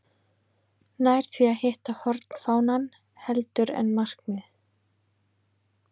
Nær því að hitta hornfánann heldur en markið.